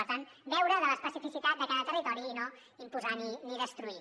per tant beure de l’especificitat de cada territori i no imposar ni destruir